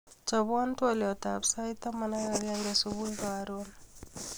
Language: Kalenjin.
Chobwo twoliotab sait taman ak agenge subui karon